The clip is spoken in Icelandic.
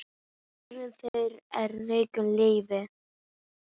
Sonur þeirra er Rúrik Leví.